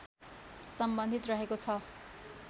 सम्बन्धित रहेको छ